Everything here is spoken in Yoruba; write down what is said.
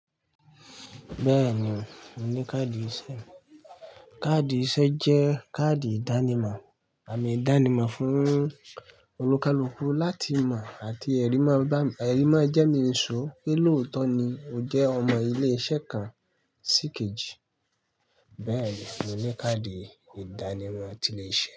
Bẹ́ẹ̀ni, mo ní káàdì iṣẹ́. Káàdì iṣẹ́ jẹ́ káàdì ìdánimọ̀ àmì ìdánimọ̀ fún olùkálùkù láti mọ̀ àti ẹ̀rí máa bà ẹ̀rí máa ń jẹ́ mínìṣú pé lóòótọ́ ni ó jẹ́ ọmọ ilé-iṣẹ́ kan síkejì. Bẹ́ẹ̀ni, mo ní káàdì ìdánimọ̀ ti ilé iṣẹ́